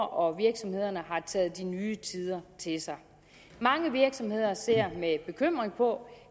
og virksomhederne har taget de nye tider til sig mange virksomheder ser med bekymring på